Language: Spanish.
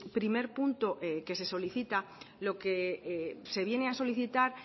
primer punto que se solicita lo que se viene a solicitar